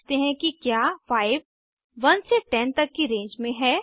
अब जांचते हैं कि क्या 5 1 से 10 तक की रेंज में है